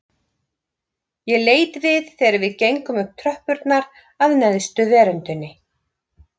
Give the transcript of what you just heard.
Ég leit við þegar við gengum upp tröppurnar að neðstu veröndinni